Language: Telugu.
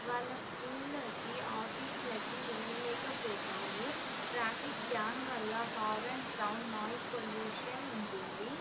వాళ్ళ స్కూళ్ళకి ఆఫీస్ లకి వెళ్లలేకపోతారు. ట్రాఫిక్ జాం వాళ్ళ హార్న్ సౌండ్ నాయిస్ పొల్యూషన్ ఉంటుంది.